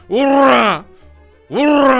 Ura! Ura!